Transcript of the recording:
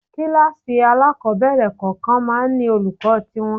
Kíláàsì alákọ̀ọ́bẹ̀rẹ̀ kọ̀ọ̀kan máa ń ní olùkọ́ tí wọn.